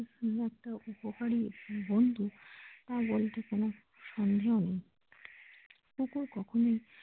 এত উপকারী বন্ধু তা বলতে কোন সন্দেহ নেই কুকুর কখনোই।